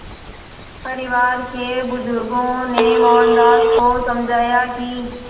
परिवार के बुज़ुर्गों ने मोहनदास को समझाया कि